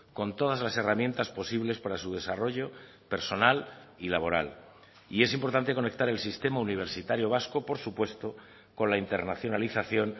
con todas las herramientas posibles para su desarrollo personal y laboral y es importante conectar el sistema universitario vasco por supuesto con la internacionalización